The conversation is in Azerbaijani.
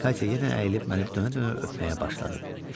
Katya yenə əyilib məni dönə-dönə öpməyə başladı.